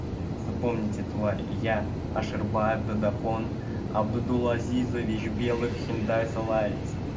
запомните твари я аширбаев дадахон абдулазизович белых хундай солярис